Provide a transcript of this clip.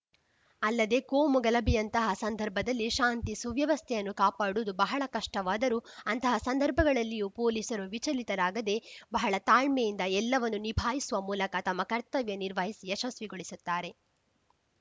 ಅಲ್ಲದೆ ಕೋಮು ಗಲಭೆಯಂತಹ ಸಂದರ್ಭದಲ್ಲಿ ಶಾಂತಿ ಸುವ್ಯವಸ್ಥೆಯನ್ನು ಕಾಪಾಡುವುದು ಬಹಳ ಕಷ್ಟವಾದರೂ ಅಂತಹ ಸಂದರ್ಭಗಳಲ್ಲಿಯೂ ಪೊಲೀಸರು ವಿಚಲಿತರಾಗದೆ ಬಹಳ ತಾಳ್ಮೆಯಿಂದ ಎಲ್ಲವನ್ನೂ ನಿಭಾಯಿಸುವ ಮೂಲಕ ತಮ್ಮ ಕರ್ತವ್ಯ ನಿರ್ವಹಿಸಿ ಯಶಸ್ವಿಗೊಳಿಸುತ್ತಾರೆ